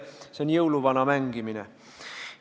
See on jõuluvana mängimine.